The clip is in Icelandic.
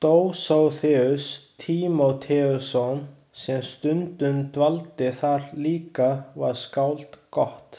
Dósóþeus Tímóteusson sem stundum dvaldi þar líka var skáld gott.